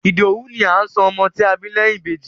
Ìdòwú ni à ń sọ ọmọ tí a bá bí lẹ́yìn Ìbejì.